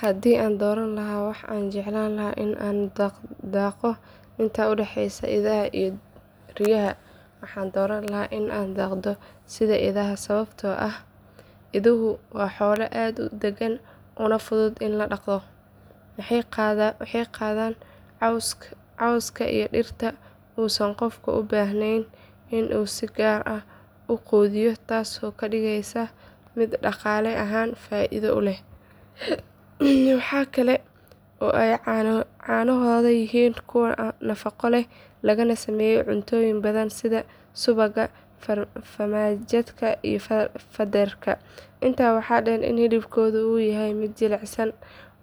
Haddii aan dooran lahaa waxa aan jeclaan lahaa in aan daaqo inta u dhaxaysa idaha iyo riyaha waxaan dooran lahaa in aan daaqo sida idaha sababtoo ah iduhu waa xoolo aad u dagan una fudud in la dhaqdo. Waxay daaqaan cawska iyo dhirta uusan qofka u baahnayn in uu si gaar ah u quudiyo taasoo ka dhigaysa mid dhaqaale ahaan faa’iido u leh. Waxaa kale oo ay caanahooda yihiin kuwo nafaqo leh lagana sameeyo cuntooyin badan sida subagga, farmaajada iyo fadarka. Intaa waxaa dheer in hilibkooda uu yahay mid jilicsan